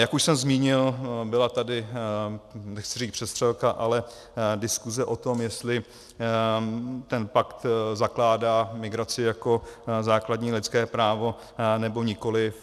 Jak už jsem zmínil, byla tady, nechci říct přestřelka, ale diskuse o tom, jestli ten pakt zakládá migraci jako základní lidské právo, nebo nikoli.